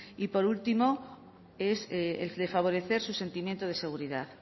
y por último es el de favorecer su sentimiento de seguridad